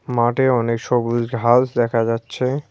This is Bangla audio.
মাঠে অনেক সবুজ ঘাস দেখা যাচ্ছে।